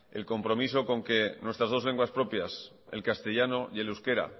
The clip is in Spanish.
el compromiso con que nuestras dos lenguas propias el castellano y el euskera